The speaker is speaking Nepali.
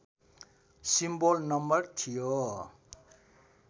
सिम्बोल नम्बर थियो